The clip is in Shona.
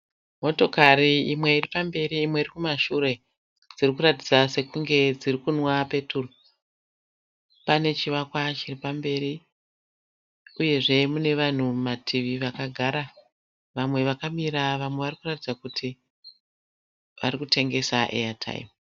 Motokari imwe irikumberi imwe irikumashure dzikuratidza sekunge dzikunwa peturu, panechivakwa chiripamberi uyezve pane vanhu vakagara nevakamira vakuratidza kuti vakutengesa eyataimi.